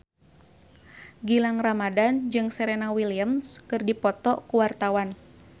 Gilang Ramadan jeung Serena Williams keur dipoto ku wartawan